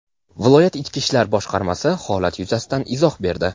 Viloyat Ichki ishlar boshqarmasi holat yuzasidan izoh berdi.